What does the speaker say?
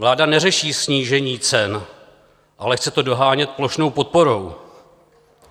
Vláda neřeší snížení cen, ale chce to dohánět plošnou podporou.